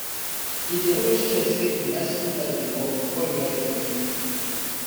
e dey always check say him bicycle light dey work before e ride for evening